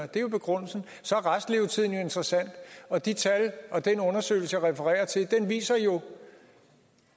det er jo begrundelsen og så er restlevetiden interessant og de tal og den undersøgelse jeg refererer til viser jo